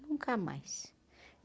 Nunca mais.